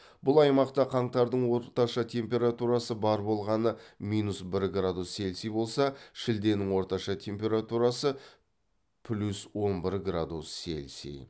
бұл аймақта қаңтардың орташа температурасы бар болғаны минус бір радус селси болса шілденің орташа температурасы плюс он бір градус селси